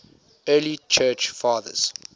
early church fathers